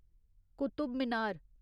Qutub Minar